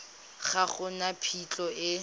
ga go na phitlho e